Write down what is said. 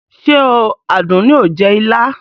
Ṣé o Àdùnní o jẹ ilá?